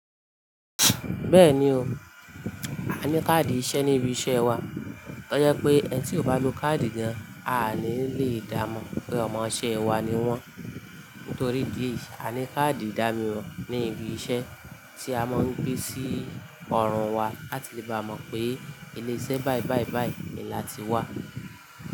Bẹ́ẹ̀ni o, a ní káàdì iṣẹ́ ní ibi iṣẹ́ wa, ó jẹ́ pé ẹ tí ò bá lo káàdì gáà, a ní lè dá mọ̀ pé ọmọṣẹ́ wa ni wọ́n. Nítorí di èé yá a ní káàdì ìdámọ̀ ní ibi iṣẹ́ tí a máa ń gbé sí ọrùn wa láti lè bá mọ̀ pé ilé iṣẹ́ báì báì báì ni láti wá.